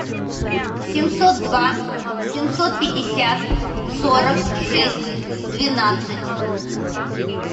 семьсот два семьсот пятьдесят сорок шесть двенадцать